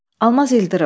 Almaz İldırım.